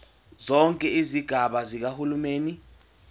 zonke izigaba zikahulumeni